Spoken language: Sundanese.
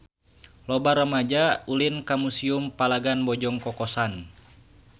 Loba rumaja ulin ka Museum Palagan Bojong Kokosan